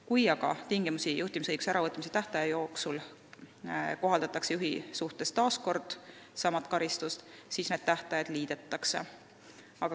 Kui aga juhtimisõiguse tingimisi äravõtmise tähtaja jooksul kohaldatakse juhi suhtes taas kord sama karistust, siis need tähtajad liidetakse.